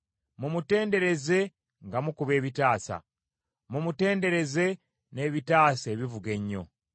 Mumutendereze nga mukuba ebitaasa; mumutendereze n’ebitaasa ebivuga ennyo!